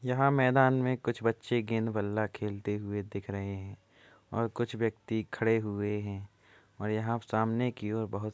यहाँ मैदान में कुछ बच्चे गेंद बल्ला खेलते हुए दिख रहे हैं और कुछ व्यक्ति खड़े हुए हैं और यहाँ सामने की ओर बहोत --